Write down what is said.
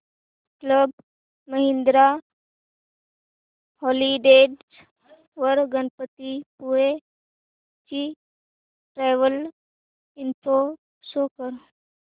club Mahindra holidays वर गणपतीपुळे ची travel info show कर